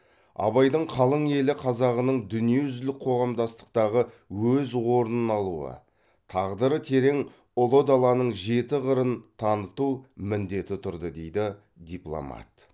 абайдың қалың елі қазағының дүниежүзілік қоғамдастықтағы өз орнын алуы тағдыры терең ұлы даланың жеті қырын таныту міндеті тұрды дейді дипломат